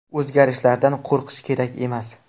O‘zgarishlardan qo‘rqish kerak emas.